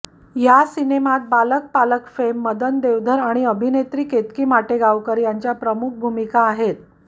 या सिनेमात बालक पालक फेम मदन देवधर आणि अभिनेत्री केतकी माटेगांवर यांच्या प्रमुख भूमिका आहेत